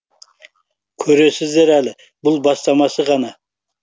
көресіздер әлі бұл бастамасы ғана